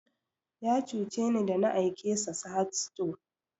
Ya cuce ni da na aike sa Sahad stores